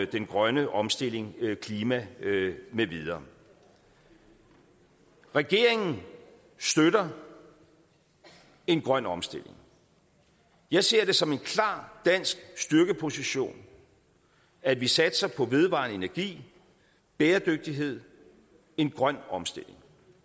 den grønne omstilling klima med videre regeringen støtter en grøn omstilling jeg ser det som en klar dansk styrkeposition at vi satser på vedvarende energi bæredygtighed en grøn omstilling